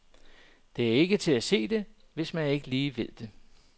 Det er ikke til at se det, hvis man ikke lige ved det.